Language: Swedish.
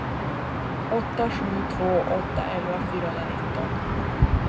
åtta sju två åtta elva fyrahundranitton